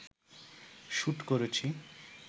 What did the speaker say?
shoot করেছি